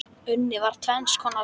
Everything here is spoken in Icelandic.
Unnið var tvenns konar salt.